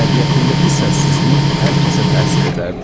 Təbiətindəki səssizlik hər kəsə təsir edərdi.